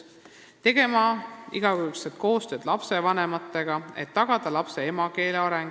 Lasteaed peab tegema igakülgset koostööd lapsevanematega, et tagada lapse emakeele areng.